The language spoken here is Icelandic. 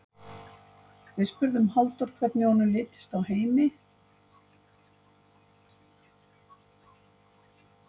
Við spurðum Halldór hvernig honum litist á Heimi?